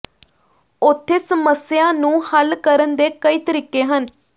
ਉੱਥੇ ਸਮੱਸਿਆ ਨੂੰ ਹੱਲ ਕਰਨ ਦੇ ਕਈ ਤਰੀਕੇ ਹਨ